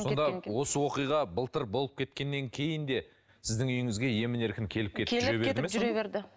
сонда осы оқиға былтыр болып кеткеннен кейін де сіздің үйіңізге емін еркін келіп кетіп жүре берді ме жүре берді